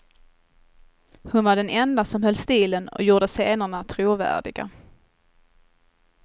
Hon var den enda som höll stilen och gjorde scenerna trovärdiga.